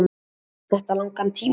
En tekur þetta langan tíma.